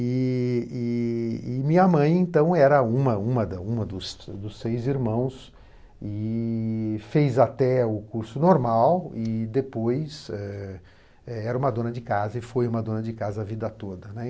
E e e minha mãe, então, era uma uma uma uma dos seis irmãos e fez até o curso normal e depois eh era uma dona de casa e foi uma dona de casa a vida toda, né.